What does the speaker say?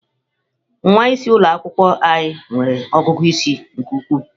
Nwa isi ụlọ akwụkwọ anyị nwere ọgụgụ isi nke ukwuu.